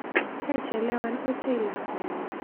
Kaichelewan ochei lakwenyu.